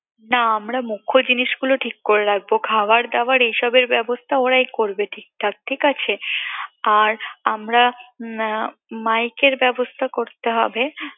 না আমরা মুখ্য জিনিসগুলো ঠিক করে রাখবো খাওয়ার দাওয়ার এসবের ব্যবস্থা ওরাই করবে ঠিকঠাক ঠিক আছে আর আমরা mike এর ব্যবস্থা করতে হবে